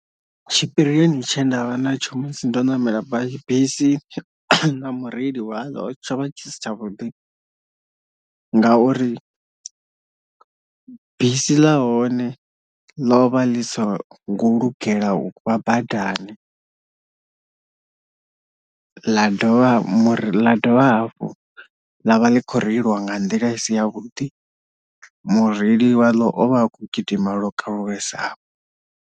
Tshipirioni tshe ndavha na tsho musi ndo namela basi bisi na mureili waḽo tsho vha tshi si tshavhuḓi ngauri bisi ḽa hone lo vha ḽi so ngo lugela uvha badani, ḽa dovha muri ḽa dovha hafhu ḽavha ḽi khou reiliwa nga nḓila i si ya vhuḓi mureili wa ḽo ovha akho gidima lokalulesaho.